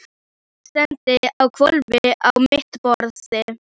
Ég legg steininn á hvolf á mitt borðið.